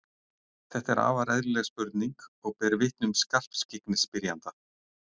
Þetta er afar eðlileg spurning og ber vitni um skarpskyggni spyrjanda.